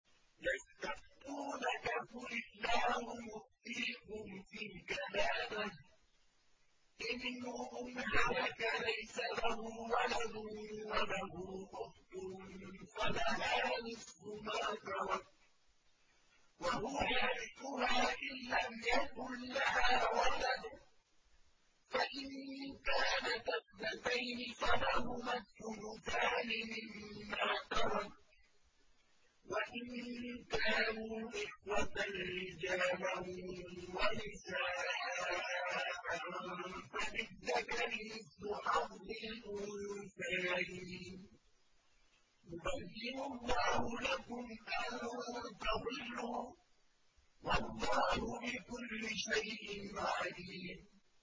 يَسْتَفْتُونَكَ قُلِ اللَّهُ يُفْتِيكُمْ فِي الْكَلَالَةِ ۚ إِنِ امْرُؤٌ هَلَكَ لَيْسَ لَهُ وَلَدٌ وَلَهُ أُخْتٌ فَلَهَا نِصْفُ مَا تَرَكَ ۚ وَهُوَ يَرِثُهَا إِن لَّمْ يَكُن لَّهَا وَلَدٌ ۚ فَإِن كَانَتَا اثْنَتَيْنِ فَلَهُمَا الثُّلُثَانِ مِمَّا تَرَكَ ۚ وَإِن كَانُوا إِخْوَةً رِّجَالًا وَنِسَاءً فَلِلذَّكَرِ مِثْلُ حَظِّ الْأُنثَيَيْنِ ۗ يُبَيِّنُ اللَّهُ لَكُمْ أَن تَضِلُّوا ۗ وَاللَّهُ بِكُلِّ شَيْءٍ عَلِيمٌ